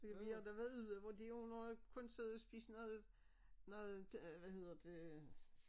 Men vi har da været ude hvor de har må kun siddet og spise noget noget øh hvad hedder det